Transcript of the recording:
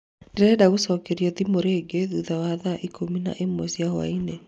Ndirenda gũcokerio thimũ rĩngĩ thutha wa thaa ikũmi na ĩmwe cia hwaĩ-inĩ